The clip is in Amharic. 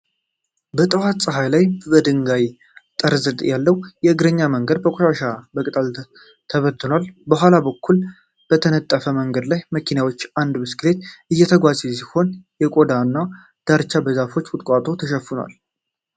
በጠዋት ፀሐይ ላይ ከድንጋይ ጠርዝ ዳር ያለው የእግረኛ መንገድ በቆሻሻና በቅጠል ተበታትኗል። ከኋላ በኩል በተነጠፈው መንገድ ላይ መኪናዎችና አንድ ብስክሌት እየተጓዙ ሲሆን፣ የጎዳናው ዳርቻ በዛፎችና ቁጥቋጦዎች ተሸፍኗል።